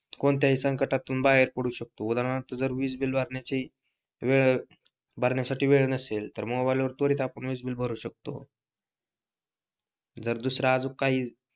कोणत्याही संकटातून बाहेर पडू शकतो उदाहरणार्थ जर वीजबिल भरण्याची वेळ भरण्यासाठी वेळ नसेल तर मोबाईल वर त्वरित आपण वीज बिल भरू शकतो जर दुसरा अजून काही